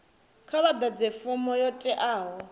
kha vhaḓadze fomo yo teaho